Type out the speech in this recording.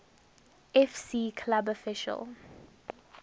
fc club official